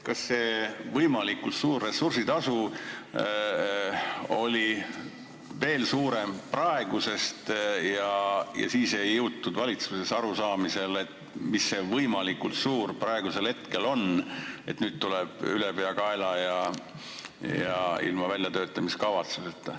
Kas see võimalikult suur ressursitasu oli veel suurem praegusest ja siis ei jõutud valitsuses ühesele arusaamisele, mis see võimalikult suur parajasti on, et nüüd tuleb tegutseda ülepeakaela ja ilma väljatöötamiskavatsuseta?